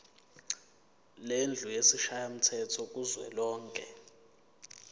lendlu yesishayamthetho kuzwelonke